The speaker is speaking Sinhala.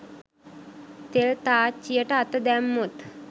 තෙල් තාච්චියට අත දැම්මොත්